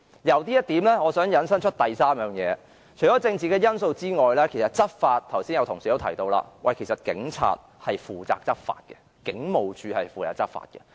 由此我想引申出第三點，也就是除政治因素之外，剛才已有同事提到，執法方面是由警察負責的，警務處是負責執法的。